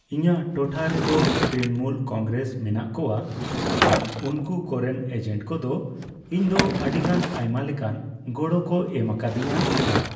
ᱤᱧᱟᱝ ᱴᱚᱴᱷᱟ ᱨᱮᱫᱚ ᱛᱨᱤᱱᱚᱢᱩᱞ ᱠᱚᱝᱜᱽᱨᱮᱥ ᱢᱮᱱᱟᱜ ᱠᱚᱣᱟ ᱾ ᱟᱨ ᱩᱱᱠᱩ ᱠᱚᱨᱮᱱ ᱮᱡᱮᱱᱴ ᱠᱚᱫᱚ ᱤᱧᱫᱚ ᱟᱹᱰᱤᱜᱟᱱ ᱟᱭᱢᱟ ᱞᱮᱠᱟᱱ ᱜᱚᱲᱚ ᱠᱚ ᱮᱢ ᱟᱠᱟᱫᱤᱧᱟ ᱾ ᱟᱨ